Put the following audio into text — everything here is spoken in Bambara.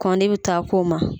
Kɔn de bi taa k'o ma.